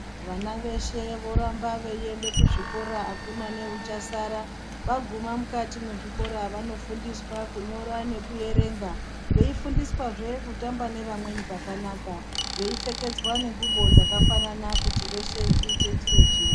Vana veshe voramba veienda kuzvikora akuna neuchasara vaguma mukati mwezvikora vanofundiswa kunyora nekuerenga veifundiswazve kutamba nevamweni kwakanaka veipfekedzwa nengubo dzakafanana kuti veshe chite chiro chimwe.